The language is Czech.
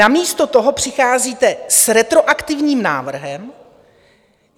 Namísto toho přicházíte s retroaktivním návrhem.